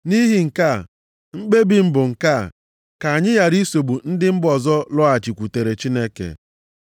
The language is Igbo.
“Nʼihi nke a, mkpebi ikpe m bụ nke a, ka anyị ghara isogbu ndị mba ọzọ lọghachikwutere Chineke,